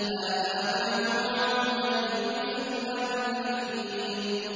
هَٰذَا مَا تُوعَدُونَ لِكُلِّ أَوَّابٍ حَفِيظٍ